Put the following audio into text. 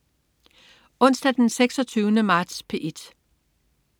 Onsdag den 26. marts - P1: